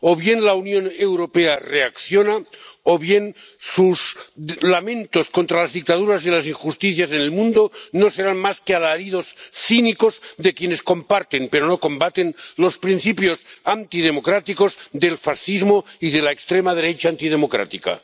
O bien la Unión Europea reacciona, o bien sus lamentos contra las dictaduras y las injusticias en el mundo no serán más que alaridos cínicos de quienes comparten, pero no combaten, los principios antidemocráticos del fascismo y de la extrema derecha antidemocrática.